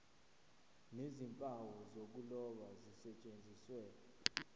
nezimpawu zokuloba zisetshenziswe